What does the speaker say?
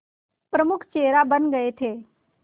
प्रमुख चेहरा बन गए थे